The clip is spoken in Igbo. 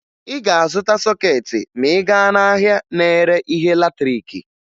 Ị ga-azụta sọkeetị ma ị gaa n'ahịa na-ere ihe latrịịkị